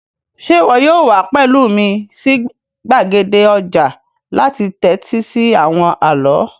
Sé wo yóò wa pẹ̀lu mí si gbàgede ojà láti tẹ́tí si àwon àló?